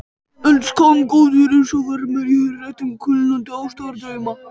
En skammgóður er sá vermir í hretum kulnandi ástardrauma.